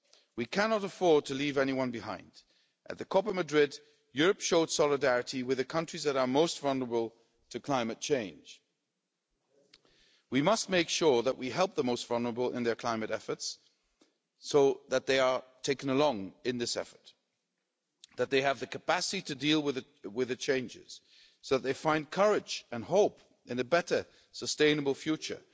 We cannot afford to leave anyone behind. At the COP in Madrid, Europe showed solidarity with the countries that are most vulnerable to climate change. We must make sure that we help the most vulnerable in their climate efforts so that they are taken along in this effort, that they have the capacity to deal with the changes so that they find courage and hope in a better, sustainable future.